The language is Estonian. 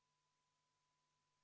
Palun võtta seisukoht ja hääletada!